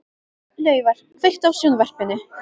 Laufar, kveiktu á sjónvarpinu.